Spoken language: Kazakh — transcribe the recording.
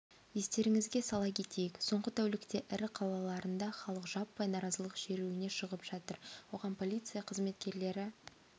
естеріңізге сала кетейік соңғы тәулікте ірі қалаларында халық жаппай наразылық шеруіне шығып жатыр оған полиция қызметкерлері